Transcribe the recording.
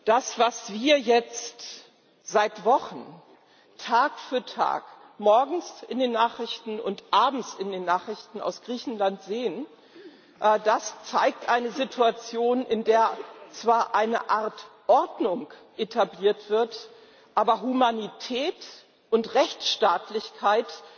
Das, was wir jetzt seit Wochen Tag für Tag morgens in den Nachrichten und abends in den Nachrichten aus Griechenland sehen, das zeigt eine Situation, in der zwar eine Art Ordnung etabliert wird, aber Humanität und Rechtsstaatlichkeit